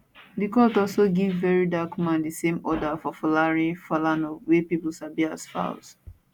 di court also give verydarkman di same order for folarin falana wey pipo sabi as falz